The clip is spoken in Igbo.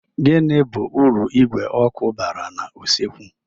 Gini bu uru igwe oku bara na usekwu?